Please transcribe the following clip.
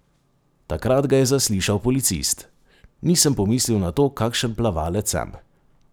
Takrat ga je zaslišal policist: "Nisem pomislil na to, kakšen plavalec sem.